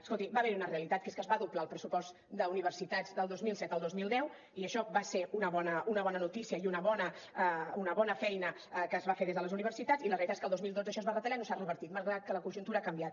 escolti va haver hi una realitat que és que es va doblar el pressupost d’universitats del dos mil set al dos mil deu i això va ser una bona notícia i una bona feina que es va fer des de les universitats i la realitat és que el dos mil dotze això es va retallar i no s’ha revertit malgrat que la conjuntura ha canviat